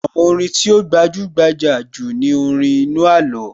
Àwọn orin tí ó gbajúgbajà jù ni orin inú àló